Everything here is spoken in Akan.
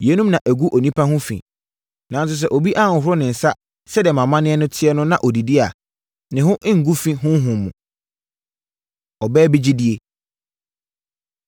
Yeinom na ɛgu onipa ho fi. Nanso, sɛ obi anhohoro ne nsa sɛdeɛ mo amanneɛ teɛ no na ɔdidi a, ne ho nguu fi honhom mu.” Ɔbaa Bi Gyidie